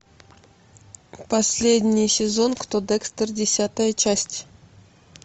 последний сезон кто декстер десятая часть